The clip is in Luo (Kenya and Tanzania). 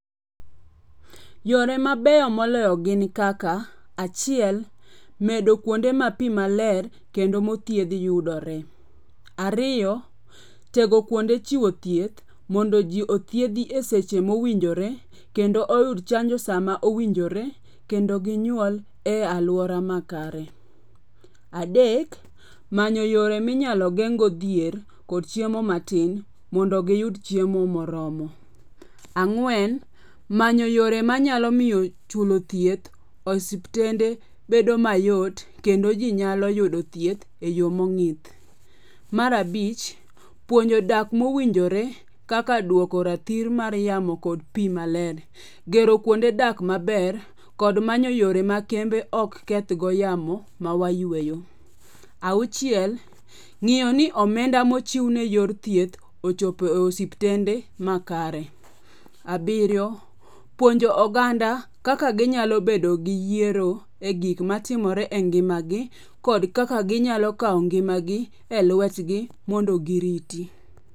Yore mabeyo moloyo gin kaka. Achiel, medo kuonde mapi maler kendo mothiedhi yudore. Ariyo, tego kuonde chiwo thieth mondo ji othiedhi e seche mowinjore kendo oyud chanjo sama owinjore kendo ginyuol e alwora makare. Adek, manyo yore minyalo geng'go dhier kod chiemo matin mondo giyud chiemo moromo. Ang'wen, manyo yore manyalo miyo chulo thieth, osiptende bedo mayot kendo ji nyalo yudo thieth e yo mong'ith. Mar abich, puonjo dak mowinjore kaka duoko rathir mar yamo kod pi maler. Gero kuonde dak maber kod manyo yore ma kembe ok kethgo yamo mawayueyo. Auchiel, ng'iyo ni omenda mochiwne yor thieth ochopo osiptende makare. Abiriyo, puonjo oganda kaka ginyalo bedo gi yiero e gik matimore e ngimagi kod kaka ginyalo kawo ngimagi e lwetgi mondo giriti.